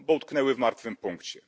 Bo utknęły w martwym punkcie.